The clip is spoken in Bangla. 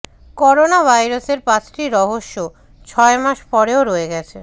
করোনার ভাইরাসের পাঁচটি রহস্য ছয় মাস পরেও রয়ে গেছে